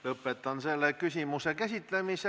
Lõpetan selle küsimuse käsitlemise.